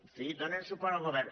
en fi donen suport al govern